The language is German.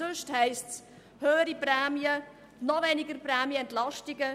Sonst heisst es: höhere Prämien und noch weniger Prämienentlastung.